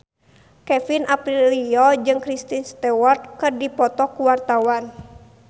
Kevin Aprilio jeung Kristen Stewart keur dipoto ku wartawan